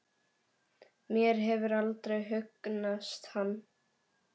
Mér hefur aldrei hugnast hann.